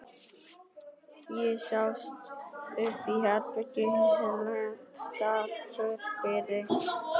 Ég staulaðist upp á herbergi og hélt þar kyrru fyrir.